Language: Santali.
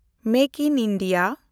ᱢᱮᱠ ᱤᱱ ᱤᱱᱰᱤᱭᱟ